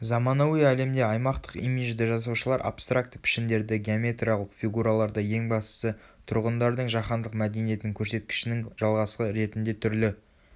заманауи әлемде аймақтық имиджді жасаушылар абстракті пішіндерді геометриялық фигураларды ең бастысы тұрғындардың жаһандық мәдениетінің көрсеткішінің жалғасы ретінде түрлі